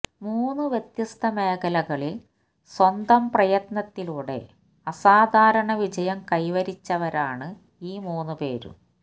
മൂന്ന് വ്യത്യസ്ത മേഖലകളിൽ സ്വന്തം പ്രയത്നത്തിലൂടെ അസാധാരണ വിജയം കൈവരിച്ചവരാണ് ഈ മൂന്ന് പേരും